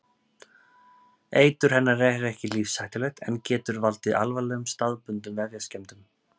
Eitur hennar er ekki lífshættulegt en getur valdið alvarlegum staðbundnum vefjaskemmdum.